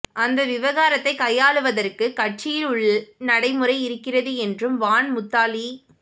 அந்த விவகாரத்தை கையாளுவதற்குக் கட்சியில் உள் நடைமுறை இருக்கிறது என்றும் வான் முத்தாலிப்